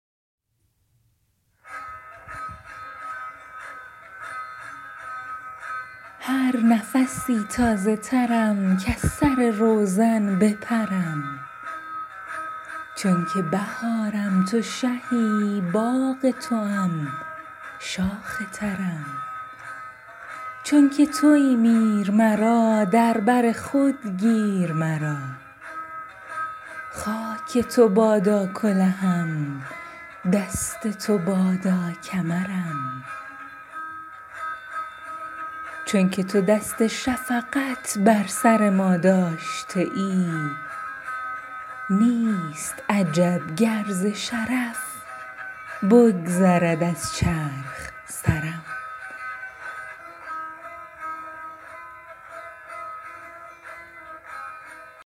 هر نفسی تازه ترم کز سر روزن بپرم چونکه بهارم تو شهی باغ توام شاخ ترم چونکه توی میر مرا در بر خود گیر مرا خاک تو بادا کلهم دست تو بادا کمرم چونکه تو دست شفقت بر سر ما داشته ای نیست عجب گر ز شرف بگذرد از چرخ سرم